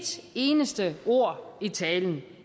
eneste ord i talen